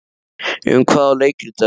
Um hvað á leikritið að vera?